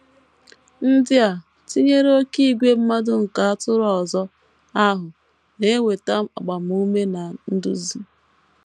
Ndị a, tinyere “ oké ìgwè mmadụ ” nke “ atụrụ ọzọ ” ahụ, na - enweta agbamume na nduzi.